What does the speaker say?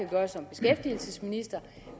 gøre som beskæftigelsesminister